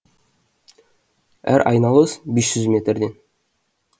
әр айналыс бес жүз метрден